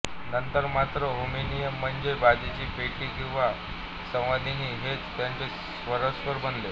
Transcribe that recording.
नंतर मात्र हार्मोनिअम म्हणजे बाजाची पेटी किंवा संवादिनी हेच त्यांचे सर्वस्व बनले